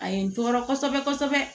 A ye n tɔɔrɔ kosɛbɛ kosɛbɛ